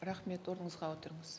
рахмет орныңызға отырыңыз